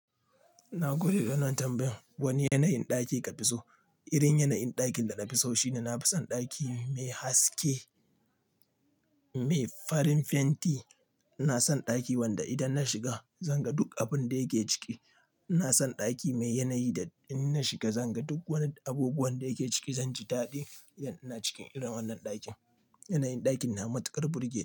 Na gode da wannan tambayan. Wani yanayin ɗaki ka fi so? Irin yanayin ɗakin da na fi so shine na fi son ɗaki mai haske, mai farin fenti. Ina son ɗaki wanda idan na shiga zan ga duk abun da yake ciki. Ina son ɗaki mai yanayi da in na shiga zan ga duk wani abubuwan da yake ciki, zan ji daɗi yan ina cikin irin wannan ɗakin. Yanayin ɗakin na matuƙar burge ni.